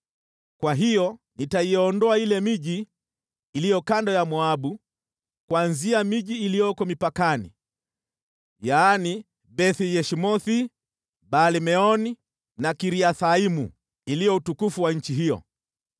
kwa hiyo nitaiondoa ile miji iliyo kando ya Moabu, kuanzia miji iliyoko mipakani, yaani: Beth-Yeshimothi, Baal-Meoni na Kiriathaimu, iliyo utukufu wa nchi hiyo.